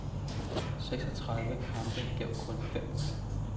Seksogtredive kampe gav kun fem point.